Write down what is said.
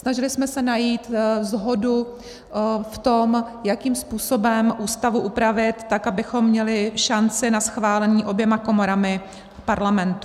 Snažili jsme se najít shodu v tom, jakým způsobem Ústavu upravit tak, abychom měli šanci na schválení oběma komorami Parlamentu.